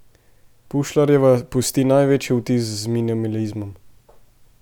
Pušlarjeva pusti največji vtis z minimalizmom.